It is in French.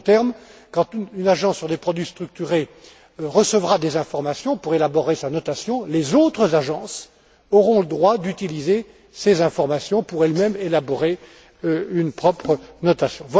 En d'autres termes, quand une agence sur des produits structurés recevra des informations pour élaborer sa notation, les autres agences auront le droit d'utiliser ces informations pour élaborer elles mêmes leur propre notation.